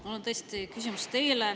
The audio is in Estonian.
Mul on tõesti teile küsimus.